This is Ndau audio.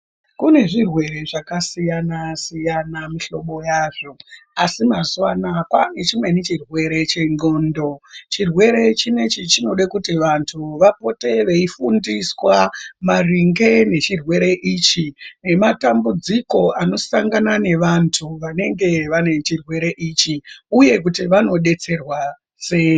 Kune zvirwere zvakasiyana-siyana mihlobo yazvo, asi mazuwa anaya kwaane chimweni chirwere chendxondo. Chirwere chinechi chinode kuti vantu vapote veifundiswa, maringe nechirwere ichi, nematambudziko anosangana nevantu vanenge vane chirwere ichi, uye kuti vanodetserwa sei.